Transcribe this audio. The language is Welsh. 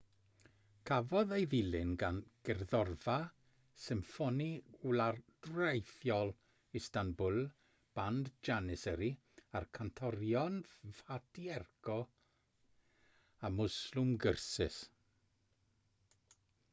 cafodd ei ddilyn gan gerddorfa symffoni wladwriaethol istanbul band janissary a'r cantorion fatih erkoc a müslüm gürses